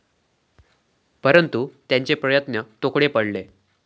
परंतु त्यांचे प्रयत्न तोकडे पडले.